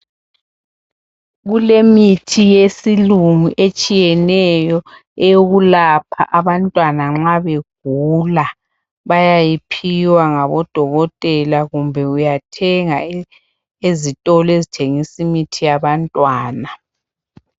Kulemithi yesilungu etshiyeneyo, eyokulapha abantwana nxa begula. Bayayiphiwa ngabodokotela kumbe uyathenga ezitolo ezithengisimithi yabantwana.